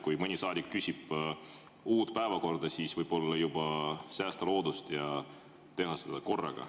Kui mõni saadik küsib uut päevakorda, siis võib-olla võiks säästa loodust ja teha seda korraga.